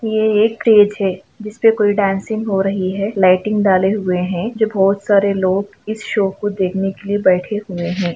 ये एक स्टेज हैं जिस पे कोई डांसिंग हो रही हैं लाइटिंग डाले हुए हैं जो बहुत सारे लोग इस सो को देखने के लिए बैठे हुए हैं।